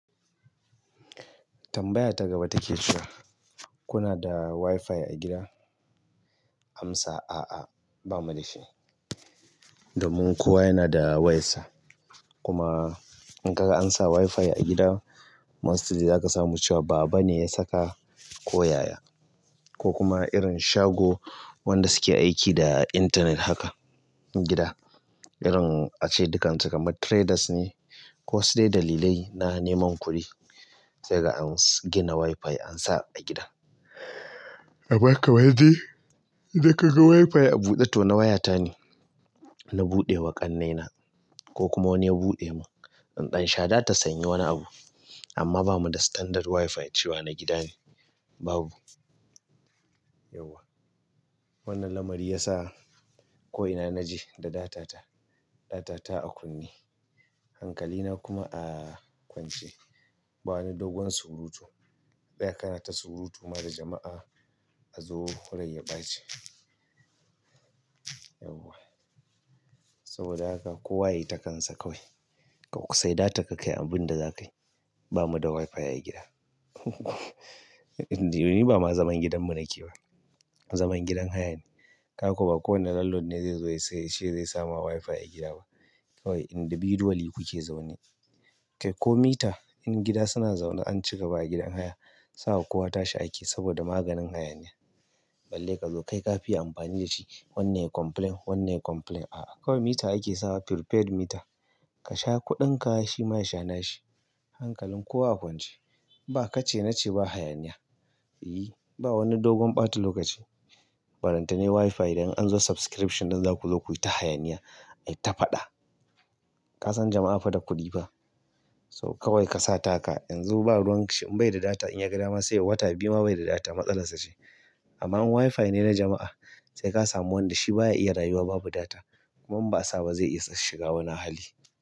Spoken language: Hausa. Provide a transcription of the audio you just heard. Tambaya ta gaba take cewa kuna da WiFi a gida? Amsa: A'a bamu da shi. Domin kowa yana da wayarsa. Kuma in ka ga ansa WiFi a gida, mostly za ka samu cewa baba ne ya saka ko yaya ko kuma irin shago wanda suke aiki da intanet haka gida. Irin ace dukan su kamar traders ne ko sai dalilai na neman kuɗi sai ka ga an gina WiFi ansa a gida. Abaka wadi, da kaga WiFi a buɗe to na waya ta ne. Na buɗe wa ƙannena ko kuma wani ya buɗe mun. In dan sha datan sa in yi wani abu amma ba mu da standard WiFi cewa na gida ne, babu. Yauwa. Wannan lamari ya sa ko ina naje da data ta, data ta a kunne, hankali na kuma a kwance. Ba wani dogon surutu. Ka tsaya kana ta surutu ma da jama'a a zo rai ya ɓace. Yauwa, saboda haka kowa ya yi ta kansa kawai ka sayi datan ka kayi abin da za kayi. Bamu da WiFi a gida. Ni ba ma zaman gidan mu nake ba. Zaman gidan haya ne. Ka ko ba kowane landlord ne zai zo ya sayi shi yace zai sama WiFi a gida ba. Kawai individually kuke zaune. Kai ko mita in gida suna zaune an cika ba a gidan haya. Sawa kowa ta shi ake saboda maganin hayaniya. Balle ka zo kai ka fi yi amfani da shi. Wannan ya complain, wannan ya complain. A'a kawai mita ake sawa prepared mita. Ka sha kuɗinka shi ma ya sha nashi. Hankalin kowa a kwance. Ba ka ce na ce ba hayaniya. I. Ba wani dogon ɓata lokaci. Balenta ne WiFi idan an zo subscription ɗin za ku zo ku yi ta hayaniya. Ai ta faɗa. Ka san jama'a fa da kuɗi fa. So kawai ka sa taka. Yanzu ba ruwan shi in bai da data in ya ga dama sai wata biyu ma bai da data matsalar sa ce. Amma in WiFi ne na jama'a sai ka samu wanda shi baya iya rayuwa babu data kuma in ba sa ba zai iya shiga wani hali.